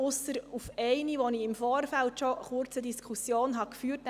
Zum Antrag 3 habe ich bereits im Vorfeld eine kurze Diskussion geführt.